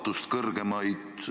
Austatud Riigikogu esimees!